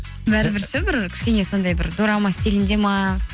бәрібір ше бір кішкене сондай бір дорама стилінде ме